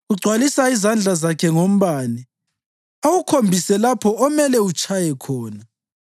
Ugcwalisa izandla zakhe ngombane awukhombise lapho omele utshaye khona.